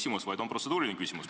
Mul on protseduuriline küsimus.